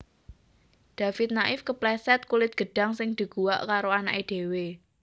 David Naif kepleset kulit gedhang sing diguwak karo anake dhewe